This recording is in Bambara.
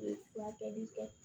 U ye furakɛli kɛ